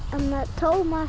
Tómas